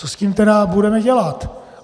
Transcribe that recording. Co s tím tedy budeme dělat?